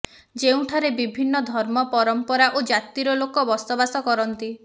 ଯେଉଁଠାରେ ବିଭିନ୍ନ ଧର୍ମ ପରମ୍ପରା ଓ ଜାତିର ଲୋକ ବସବାସ କରନ୍ତି